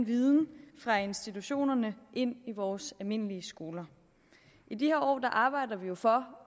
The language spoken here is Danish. viden fra institutionerne ind i vores almindelige skoler i de her år arbejder vi jo for